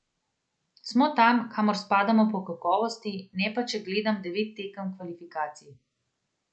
Smo tam, kamor spadamo po kakovosti, ne pa, če gledam devet tekem kvalifikacij.